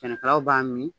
Sɛnɛkɛlaw b'a mi